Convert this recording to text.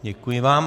Děkuji vám.